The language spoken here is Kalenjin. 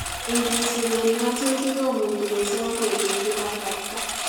Ingisuben ngatutit komuchi kosom ketesyi kasarta